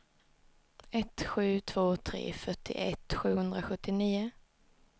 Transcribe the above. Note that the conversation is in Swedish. ett sju två tre fyrtioett sjuhundrasjuttionio